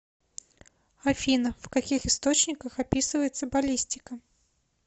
афина в каких источниках описывается баллистика